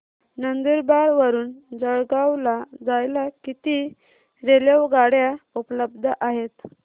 नंदुरबार वरून जळगाव ला जायला किती रेलेवगाडया उपलब्ध आहेत